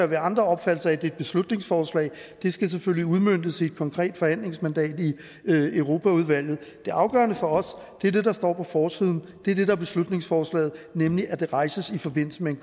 være andre opfattelser af det er et beslutningsforslag det skal selvfølgelig udmøntes i et konkret forhandlingsmandat i europaudvalget det afgørende for os er det der står på forsiden det er det er beslutningsforslaget nemlig at det rejses i forbindelse med